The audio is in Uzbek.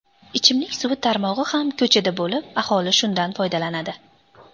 Ichimlik suvi tarmog‘i ham ko‘chada bo‘lib, aholi shundan foydalanadi.